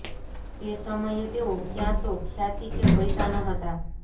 તે સમયે તેઓ ક્યાં તો ખ્યાતિ કે પૈસા ન હતા